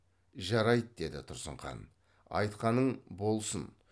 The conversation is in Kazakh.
жарайды деді тұрсын хан айтқаның болсын